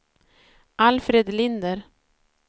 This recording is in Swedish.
Alfred Linder